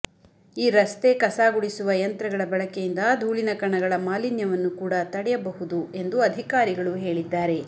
ಈ ರಸ್ತೆ ಕಸ ಗುಡಿಸುವ ಯಂತ್ರಗಳ ಬಳಕೆಯಿಂದ ಧೂಳಿನ ಕಣಗಳ ಮಾಲಿನ್ಯವನ್ನು ಕೂಡ ತಡೆಯಬಹುದು ಎಂದು ಅಧಿಕಾರಿಗಳು ಹೇಳಿದ್ದಾರೆ